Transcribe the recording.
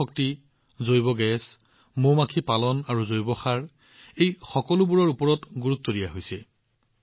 সৌৰ শক্তি জৈৱ গেছ মৌ মাখি ৰক্ষণাবেক্ষণ আৰু জৈৱ সাৰৰ ওপৰত সম্পূৰ্ণ গুৰুত্ব দিয়া হয়